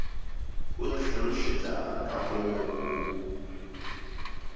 o ntlhalošetša ka mo o